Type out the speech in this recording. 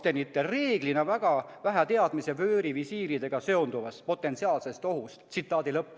Seega oli kaptenitel reeglina väga vähe teadmisi vöörivisiiridega seonduvast potentsiaalsest ohust.